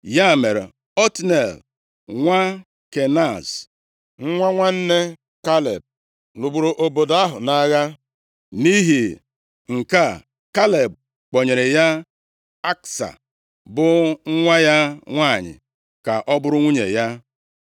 Ya mere, Otniel, nwa Kenaz, nwa nwanne Kaleb, lụgburu obodo ahụ nʼagha. Nʼihi nke a, Kaleb kpọnyere ya Aksa, bụ nwa ya nwanyị ka ọ bụrụ nwunye ya.